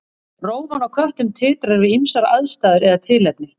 Rófan á köttum titrar við ýmsar aðstæður eða tilefni.